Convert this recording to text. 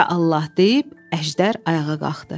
Ya Allah deyib, Əjdər ayağa qalxdı.